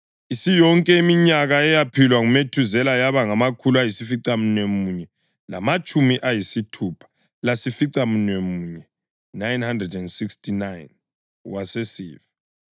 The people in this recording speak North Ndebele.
Isiyonke iminyaka eyaphilwa nguMethuzela yaba ngamakhulu ayisificamunwemunye lamatshumi ayisithupha layisificamunwemunye (969), wasesifa.